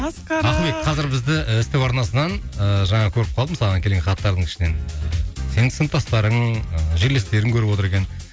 масқара ақылбек қазір бізді ств арнасынан ыыы жаңа көріп қалдым саған келген хаттардың ішінен сенің сыныптастарың ыыы жерлестерің көріп отыр екен